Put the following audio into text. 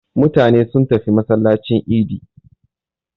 Mutane sun tafi masallacin idi.